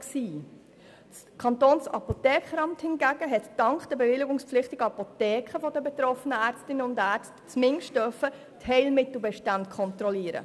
Das Kantonsapothekeramt hingegen konnte dank der bewilligungspflichtigen Apotheken der betroffenen Ärztinnen und Ärzte zumindest die Heilmittelbestände kontrollieren.